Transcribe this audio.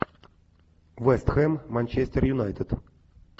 вест хэм манчестер юнайтед